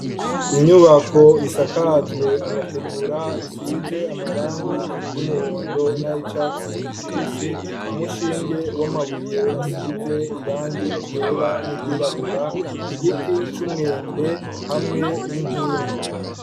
Inyubako isakajwe amategura isize amarangi y'umuhondo, naho icatsi ikibisi umushinge w'amabuye asize irangi igera n'igirabura igiti c'umwembe hamwe n'inkingi.